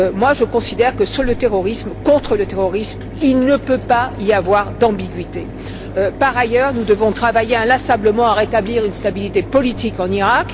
Je considère que dans la lutte contre le terrorisme, il ne peut pas y avoir d'ambiguïté. Par ailleurs, nous devons travailler inlassablement à rétablir une stabilité politique en Iraq.